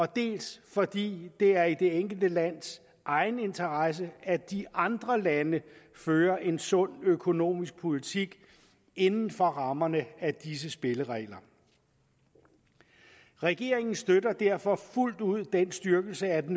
dels fordi det er i det enkelte lands egen interesse at de andre lande fører en sund økonomisk politik inden for rammerne af disse spilleregler regeringen støtter derfor fuldt ud den styrkelse af